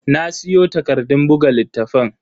Na siyo takardun buga littafan.